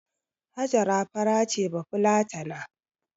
Hajara fara ce bafulatana